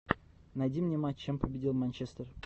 найди мне матч чем победил манчестер